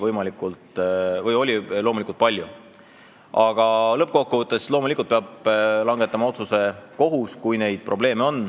Aga kui neid probleeme on, peab lõppkokkuvõttes langetama otsuse kohus.